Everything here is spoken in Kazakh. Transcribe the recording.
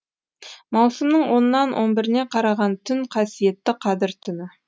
маусымның онынан он біріне қараған түн қасиетті қадір түні